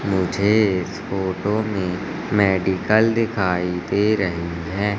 मुझे इस photo medical दिखाई दे रही है।